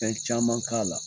Fɛn caman k'a la.